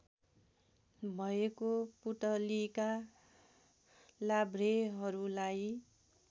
भएको पुतलीका लाभ्रेहरूलाई